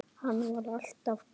Hann var alltaf bestur.